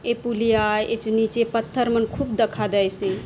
ये पुलिया आय ए चो नीचे पत्थर मन खूब दखा दयसे।